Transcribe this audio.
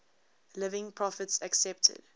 living prophets accepted